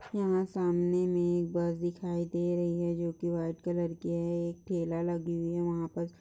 यहाँ सामने मे एक बस दिखाई दे रही हैं जो कि व्हाइट कलर की हैं एक ठेला लगी हुई हैं वहाँ पस --